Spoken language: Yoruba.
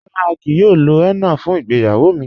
Rárá, à kíí yòò lò hénnà fún ìgbéyàwó mi..